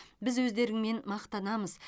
біз өздеріңмен мақтанамыз